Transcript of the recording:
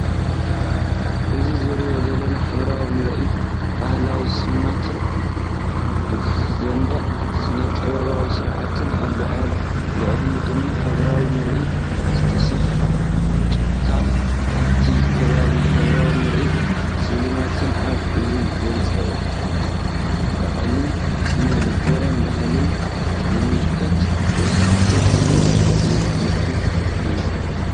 እዚ ዝረአ ዘሎ ሕብራዊ ምርኢት ባህላዊ ስልማትን ዘደንቕ ስነ-ጥበባዊ ስርሓትን ኣሎ። ኣብ ልዕሊኡ ድማ ሕብራዊ ምርኢት ዝተሰፍሐ ጭቃን ኣብቲ ከባቢ ሕብራዊ ምርኢት ስልማትን ኣሎ። እዚ ንጽባቐ ባህልን ስነ-ልቦና ባህልን ዝምልከት መሳጢ ርእይቶ'ዩ።